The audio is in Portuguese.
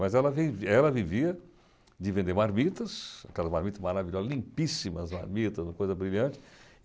Mas ela vevi ela vivia de vender marmitas, aquelas marmitas maravilhosas, limpíssimas marmitas, uma coisa brilhante.